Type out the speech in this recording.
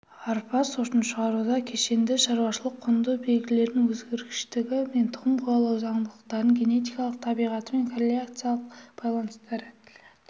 арпа сортын шығаруда кешенді шаруашылық-құнды белгілерін өзгергіштігі мен тұқым қуалау заңдылықтарын генетикалық табиғаты мен корреляциялық байланыстары